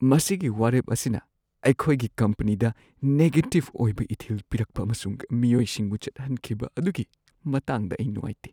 ꯃꯁꯤꯒꯤ ꯋꯥꯔꯦꯞ ꯑꯁꯤꯅ ꯑꯩꯈꯣꯏꯒꯤ ꯀꯝꯄꯅꯤꯗ ꯅꯦꯒꯦꯇꯤꯕ ꯑꯣꯏꯕ ꯏꯊꯤꯜ ꯄꯤꯔꯛꯄ ꯑꯃꯁꯨꯡ ꯃꯤꯑꯣꯏꯁꯤꯡꯕꯨ ꯆꯠꯍꯟꯈꯤꯕ ꯑꯗꯨꯒꯤ ꯃꯇꯥꯡꯗ ꯑꯩ ꯅꯨꯡꯉꯥꯏꯇꯦ꯫